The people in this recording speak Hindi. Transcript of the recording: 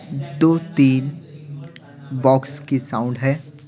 दो-तीन बॉक्स की साउंड है ।